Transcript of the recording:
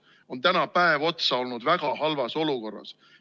See on täna päev otsa olnud väga halvas olukorras.